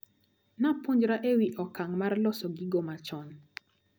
Napuonjra ewi okang` mar loso gigo machon.